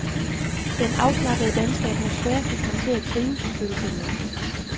Den afslappede danske atmosfære fik ham til at trives og føle sig hjemme.